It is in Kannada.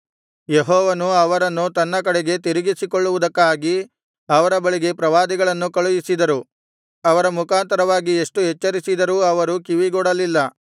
ಯೆಹೋವನು ಅವರನ್ನು ತನ್ನ ಕಡೆಗೆ ತಿರುಗಿಸಿಕೊಳ್ಳುವುದಕ್ಕಾಗಿ ಅವರ ಬಳಿಗೆ ಪ್ರವಾದಿಗಳನ್ನು ಕಳುಹಿಸಿದರು ಅವರ ಮುಖಾಂತರವಾಗಿ ಎಷ್ಟು ಎಚ್ಚರಿಸಿದರೂ ಅವರು ಕಿವಿಗೊಡಲಿಲ್ಲ